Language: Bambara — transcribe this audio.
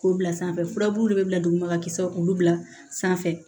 K'o bila sanfɛ furabulu bɛ bila duguma kisɛ k'olu bila sanfɛ